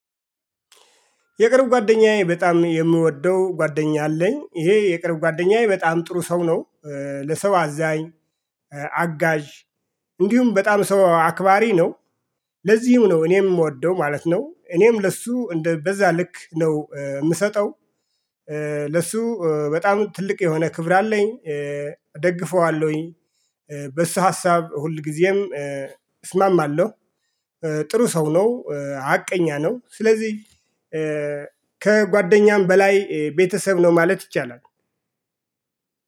የቅርብ ጓደኛዬ በጣም የምወደው ጓደኛ አለኝ ይሄ የቅርብ ጓደኛዬ በጣም ጥሩ ሰው ነው። ለሰው አዛኝ አጋዥ እንዲሁም በጣም ሰው አክባሪ ነው። ለዚሁም ነው እኔም የምወደው ማለት ነው እኔም ለሱ በዛ ልክ ነው የምሰጠው። ለሱ በጣም ትልቅ የሆነ ክብር አለኝ እደግፈዋለሁኝ። በሱ ሀሳብ ሁልጊዜም እስማማለሁ። ጥሩ ሰው ነው ሀቀኛ ነው። ስለዚህ ከጓደኛም በላይ ቤተሰብ ነው ማለት ይቻላል።